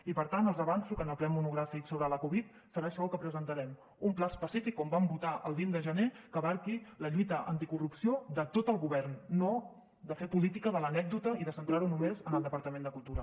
i per tant els avanço que en el ple monogràfic sobre la covid serà això el que presentarem un pla específic com vam votar el vint de gener que abraci la lluita anticorrupció de tot el govern no de fer política de l’anècdota i de centrar ho només en el departament de cultura